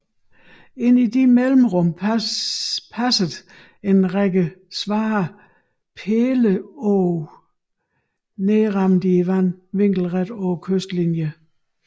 Ind i disse mellemrum passede en række svære pæleåg nedrammede i vandet vinkelret på kystlinien